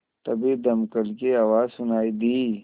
तभी दमकल की आवाज़ सुनाई दी